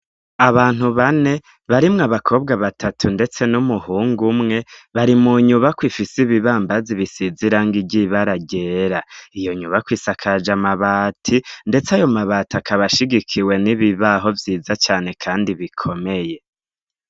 Abantu bane barimwo abakobwa batatu ndetse n'umuhungu umwe bari mu nyubakwa ifise ibibambazi bisize irangi ry'ibara ryera. iyo nyubakwa isakaje amabati, ndetse ayo mabati akaba ashigikiwe n'ibibaho vyiza cane kandi bikomeye.